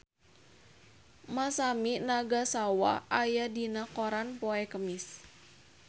Masami Nagasawa aya dina koran poe Kemis